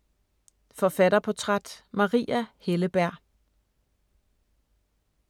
Forfatterportræt: Maria Helleberg